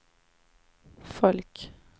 folk